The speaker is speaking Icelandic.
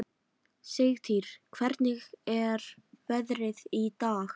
Sigtýr, hvernig er veðrið í dag?